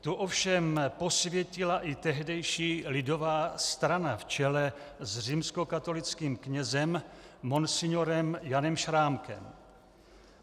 Tu ovšem posvětila i tehdejší Lidová strana v čele s římskokatolickým knězem monsignorem Janem Šrámkem.